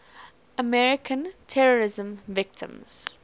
american terrorism victims